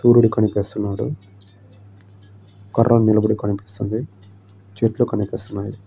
సూర్యుడు కనిపిస్తున్నాడు. కర్ర నిలబడి కనిపిస్తుంది. చెట్లు కనిపిస్తున్నాను.